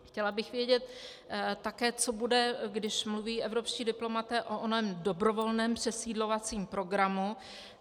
Chtěla bych vědět také, co bude, když mluví evropští diplomaté o onom dobrovolném přesídlovacím programu.